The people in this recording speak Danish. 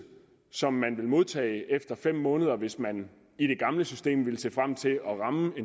som man vil modtage efter fem måneder hvis man i det gamle system ville se frem til at ramme